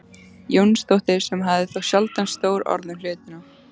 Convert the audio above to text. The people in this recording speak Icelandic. Jónsdóttir sem hafði þó sjaldan stór orð um hlutina.